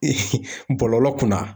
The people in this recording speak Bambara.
bɔlɔlɔ kunna